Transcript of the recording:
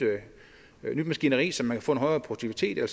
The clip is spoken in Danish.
maskineri så man kan få en højere produktivitet og